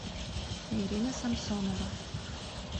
ирина самсонова